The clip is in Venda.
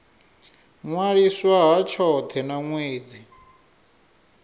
ṅwaliswa ha tshothe na ṅwedzi